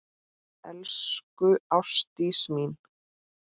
Elsku Ástdís mín.